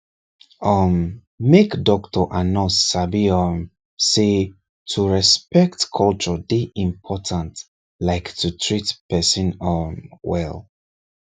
um make doctor and nurse sabi um say to respect culture dey important like to treat person um well